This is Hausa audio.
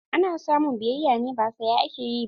Ana samun biyayya ne, ba saya ake yi ba.